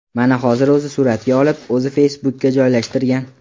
Mana hozir o‘zi suratga olib, o‘zi Facebook’ga joylashtirgan.